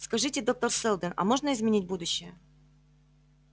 скажите доктор сэлдон а можно изменить будущее